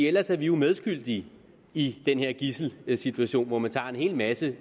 ellers er vi jo medskyldige i den her gidselsituation hvor man tager en hel masse